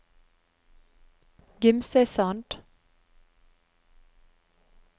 Gimsøysand